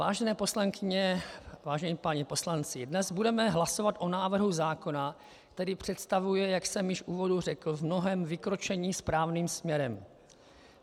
Vážené poslankyně, vážení páni poslanci, dnes budeme hlasovat o návrhu zákona, který představuje, jak jsem již v úvodu řekl, v mnohém vykročení správným směrem.